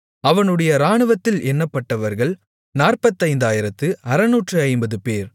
அவனுடைய இராணுவத்தில் எண்ணப்பட்டவர்கள் நாற்பத்தையாயிரத்து அறுநூற்று ஐம்பது 45650 பேர்